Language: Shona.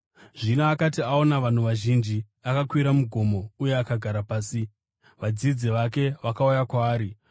Zvino akati aona vanhu vazhinji, akakwira mugomo uye akagara pasi. Vadzidzi vake vakauya kwaari,